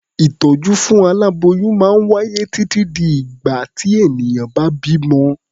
Ìtọ́jú fún aláboyún máa wáyé títí di ìgbà tí ènìyàn bá bímọ.